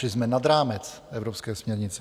Šli jsme nad rámec evropské směrnice.